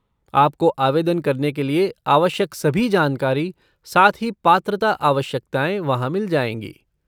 आपको आवेदन करने के लिए आवश्यक सभी जानकारी, साथ ही पात्रता आवश्यकताएँ वहाँ मिल जाएँगी।